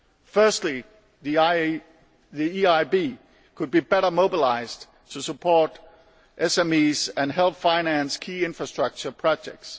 Firstly, the EIB could be better mobilised to support SMEs and help finance key infrastructure projects.